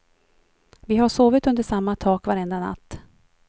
Vi har sovit under samma tak var enda natt.